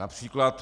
Například.